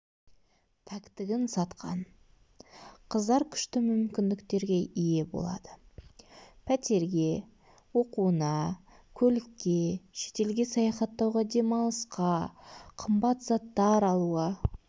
пәктігін сатқан қыздар күшті мүмкіндіктерге ие болады пәтерге оқуына көлікке шетелге саяхаттауға демалысқа қымбат заттар алуға